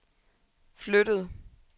flyttede